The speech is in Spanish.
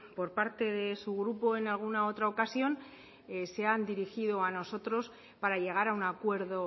por parte de su grupo en alguna otra ocasión se han dirigido a nosotros para llegar a un acuerdo